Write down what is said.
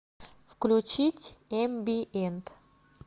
включить эмбиент